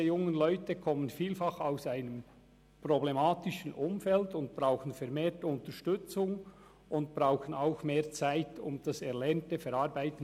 Diese jungen Leute kommen vielfach aus einem problematischen Umfeld und brauchen vermehrt Unterstützung und auch mehr Zeit, um das Erlernte zu verarbeiten.